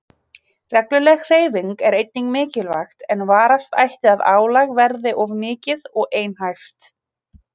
Regluleg hreyfing er einnig mikilvæg en varast ætti að álag verði of mikið og einhæft.